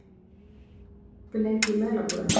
Kristlind, hvað er opið lengi í Melabúðinni?